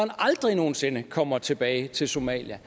aldrig nogen sinde kommer tilbage til somalia